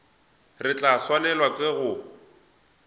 re tla swanelwa ke go